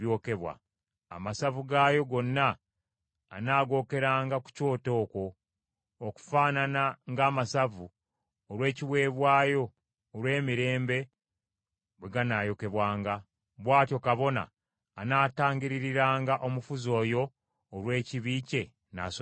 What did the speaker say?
Amasavu gaayo gonna anaagookeranga ku kyoto okwo, okufaanana ng’amasavu olw’ekiweebwayo olw’emirembe bwe ganaayokebwanga. Bw’atyo kabona anaatangiririranga omufuzi oyo olw’ekibi kye, n’asonyiyibwa.